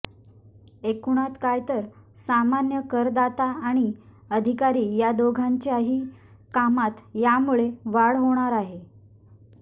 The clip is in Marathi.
एकूणात काय तर सामान्य करदाता आणि अधिकारी या दोघांच्याही कामात यामुळे वाढच होणार आहे